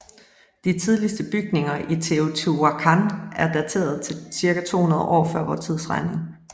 De tidligste bygninger i Teotihuacan er dateret til cirka 200 år fvt